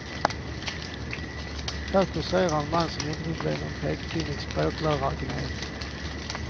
Här kåserar en man som inte ville bli någon pekpinnig språklärargnet.